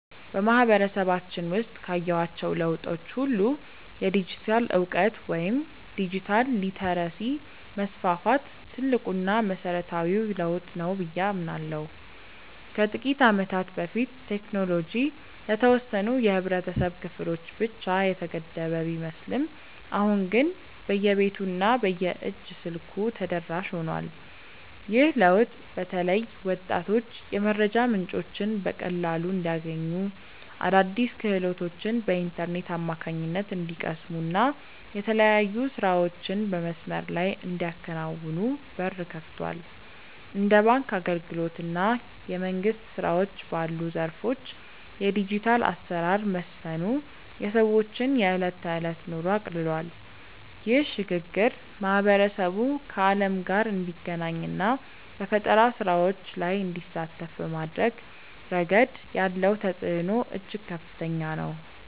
በማህበረሰባችን ውስጥ ካየኋቸው ለውጦች ሁሉ የዲጂታል እውቀት ወይም ዲጂታል ሊተረሲ መስፋፋት ትልቁና መሰረታዊው ለውጥ ነው ብዬ አምናለሁ። ከጥቂት ዓመታት በፊት ቴክኖሎጂ ለተወሰኑ የህብረተሰብ ክፍሎች ብቻ የተገደበ ቢመስልም አሁን ግን በየቤቱ እና በየእጅ ስልኩ ተደራሽ ሆኗል። ይህ ለውጥ በተለይ ወጣቶች የመረጃ ምንጮችን በቀላሉ እንዲያገኙ፣ አዳዲስ ክህሎቶችን በኢንተርኔት አማካኝነት እንዲቀስሙ እና የተለያዩ ስራዎችን በመስመር ላይ እንዲያከናውኑ በር ከፍቷል። እንደ ባንክ አገልግሎት እና የመንግስት ስራዎች ባሉ ዘርፎች የዲጂታል አሰራር መስፈኑ የሰዎችን የዕለት ተዕለት ኑሮ አቅልሏል። ይህ ሽግግር ማህበረሰቡ ከዓለም ጋር እንዲገናኝ እና በፈጠራ ስራዎች ላይ እንዲሳተፍ በማድረግ ረገድ ያለው ተጽዕኖ እጅግ ከፍተኛ ነው።